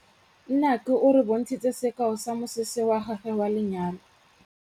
Nnake o re bontshitse sekaô sa mosese wa gagwe wa lenyalo.